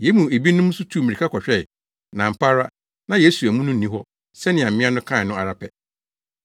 Yɛn mu ebinom tuu mmirika kɔhwɛe, na ampa ara, na Yesu amu no nni hɔ sɛnea mmea no kae no ara pɛ.”